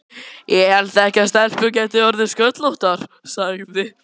Ég hélt ekki að stelpur gætu orðið sköllóttar, sagði